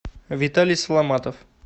виталий соломатов